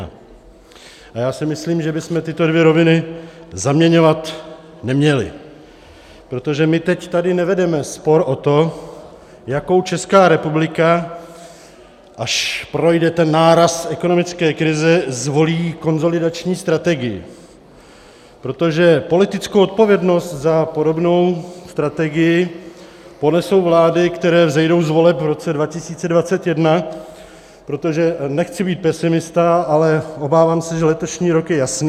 A já si myslím, že bychom tyto dvě roviny zaměňovat neměli, protože my teď tady nevedeme spor o to, jakou Česká republika, až projde ten náraz ekonomické krize, zvolí konsolidační strategii, protože politickou odpovědnost za podobnou strategii ponesou vlády, které vzejdou z voleb v roce 2021, protože, nechci být pesimista, ale obávám se, že letošní rok je jasný.